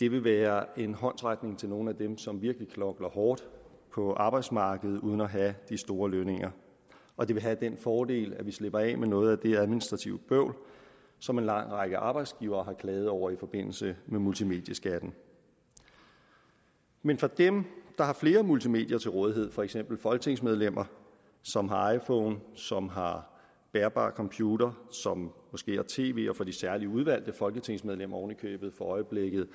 det vil være en håndsrækning til nogle af dem som virkelig knokler hårdt på arbejdsmarkedet uden at have de store lønninger og det vil have den fordel at vi slipper af med noget af det administrative bøvl som en lang række arbejdsgivere har klaget over i forbindelse med multimedieskatten men for dem der har flere multimedier til rådighed for eksempel folketingsmedlemmer som har iphone som har bærbar computer som måske har tv og for de særlig udvalgte folketingsmedlemmer oven i købet for øjeblikket